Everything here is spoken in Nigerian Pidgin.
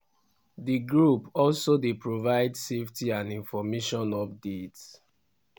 di group also dey provide safety and information updates.